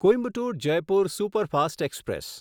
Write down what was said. Coimbatore Jaipur superfast express